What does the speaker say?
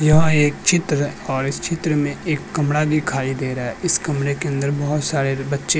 यह एक चित्र और इस चित्र में एक कमरा दिखाई दे रहा है इस कमरे के अंदर बहोत सारे बच्चे --